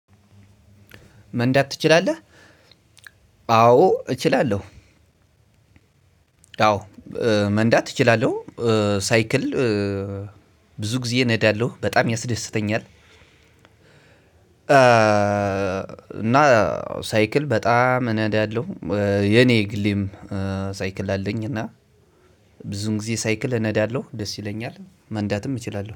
መንዳት ትችላለህ? አዎ እችላለሁ። አዎ መንዳት እችላለሁ። ሳይክል ብዙ ጊዜ እነዳለሁ በጣም ያስደስተኛል። እና ሳይክል በጣም እነዳለሁ የኔ የግሌም ሳይክል አለኝ። እና ብዙ ጊዜ ሳይክል እነዳለሁ ደስ ይለኛል መንዳትም እችላለሁ